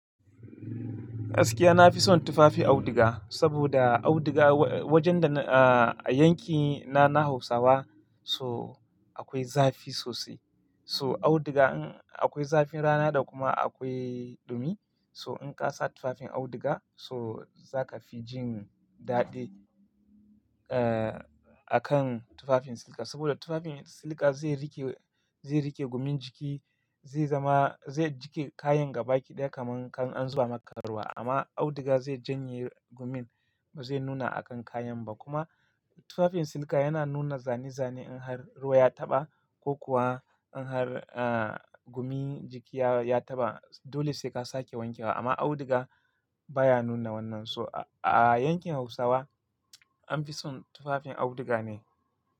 Gaskiya na fi son tufafin auduga, saboda auduga wajen da a yankina na Hausawa, so akwai zafi sosai. So auduga in akwai zafin rana da kuma akwai ɗumi. So in ka sa tufafin auduga so za ka fi jin daɗi eh akan tufafin silka. Saboda tufafin silka zai rike, zai rike gumin jiki, zai zama, zai jike kayan ga-baki-daya kaman kan an zuba maka ruwa. Amma auduga zai janye gumin, ba zai nuna a kan kayan ba. Kuma tufafin silka yana nuna zane-zane in har ruwa ya taɓa ko kuwa in har eh gumin jiki ya taɓa. Dole sai ka sake wankewa. Amma auduga baya nuna wannan. So a yankin Hausawa an fi son tufafin auduga ne.